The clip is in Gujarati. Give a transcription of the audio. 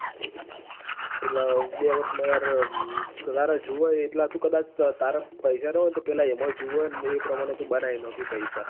એટલે બે વર્ષ માં યાર જોવે એટલા તો કદાચ પૈસા નાં હોય તો પેલા એમાં ય જોવે એ પ્રમણે બનાવી નાખે પૈસા.